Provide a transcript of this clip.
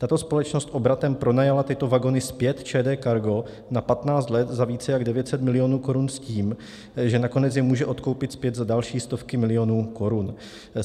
Tato společnost obratem pronajala tyto vagony zpět ČD Cargo na 15 let za více než 900 milionů korun s tím, že nakonec je může odkoupit zpět za další stovky milionů korun.